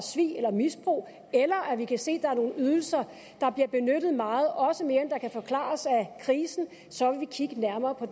svig eller misbrug eller vi kan se at der er nogle ydelser der bliver benyttet meget også mere end der kan forklares af krisen så vil vi kigge nærmere på